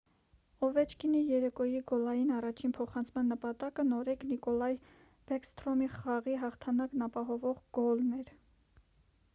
օվեչկինի երեկոյի գոլային առաջին փոխանցման նպատակը նորեկ նիկոլայ բեքսթրոմի խաղի հաղթանակն ապահովող գոլն էր